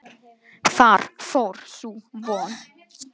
Þar fór sú von.